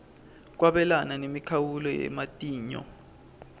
kwabelana nemikhawulo yematinyo